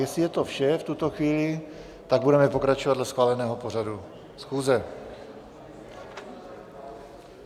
Jestli je to vše v tuto chvíli, tak budeme pokračovat dle schváleného pořadu schůze.